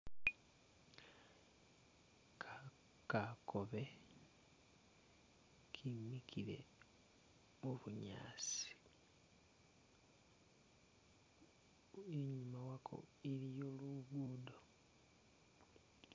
Ka kakobe kemikile mubunyaasi, inyuma wako iliyo lugudo.